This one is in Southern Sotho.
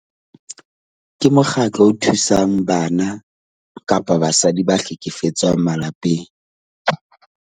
Ke mokgatlo o thusang bana kapa basadi ba hlekefetswang malapeng .